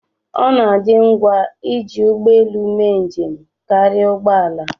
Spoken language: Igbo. ọ na-adị ngwa iji ụgbọ elu mee njem karịa ụgbọ ala